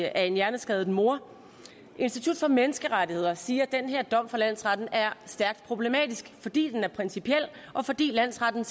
af en hjerneskadet mor institut for menneskerettigheder siger at den her dom fra landsretten er stærkt problematisk fordi den er principiel og fordi landsretten